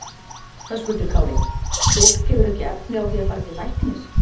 Höskuldur Kári: Fólk hefur ekki efni á því að fara til læknis?